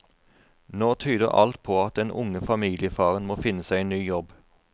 Nå tyder alt på at den unge familiefaren må finne seg en ny jobb.